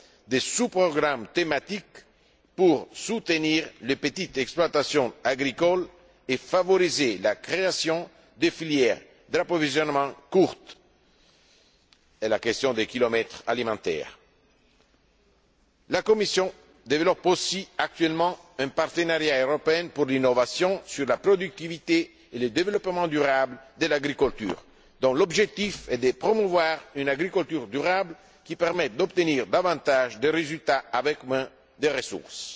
des sous programmes thématiques pour soutenir les petites exploitations agricoles et favoriser la création de filières d'approvisionnement courtes. C'est la question des kilomètres alimentaires. La Commission développe aussi actuellement un partenariat européen pour l'innovation sur la productivité et le développement durable de l'agriculture, dont l'objectif est de promouvoir une agriculture durable qui permette d'obtenir davantage de résultats avec moins de ressources.